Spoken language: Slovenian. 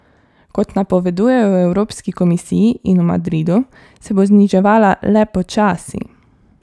Kot napovedujejo v Evropski komisiji in v Madridu, se bo zniževala le počasi.